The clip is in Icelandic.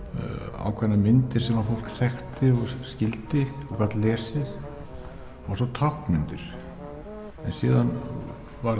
ákveðnar myndir sem að fólk þekkti og skildi og gat lesið og svo táknmyndir síðan varð